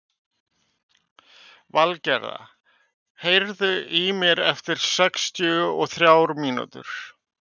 Valgerða, heyrðu í mér eftir sextíu og þrjár mínútur.